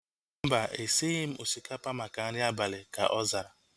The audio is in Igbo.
Mba, esighi m osikapa maka nri abalị ka ọ zara